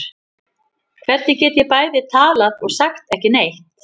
Hvernig get ég bæði talað og sagt ekki neitt?